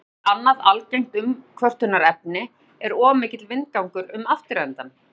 Vindgangur Annað algengt umkvörtunarefni er of mikill vindgangur um afturendann.